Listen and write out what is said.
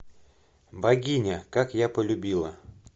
богиня как я полюбила